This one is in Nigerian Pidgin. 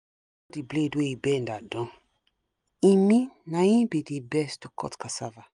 na she dey call the blade wey bend adan e mean na him be the best to cut casava